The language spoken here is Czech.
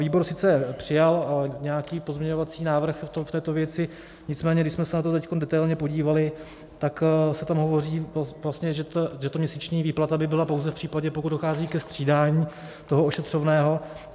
Výbor sice přijal nějaký pozměňovací návrh v této věci, nicméně když jsme se na to teď detailně podívali, tak se tam hovoří vlastně, že ta měsíční výplata by byla pouze v případě, pokud dochází ke střídání toho ošetřovného.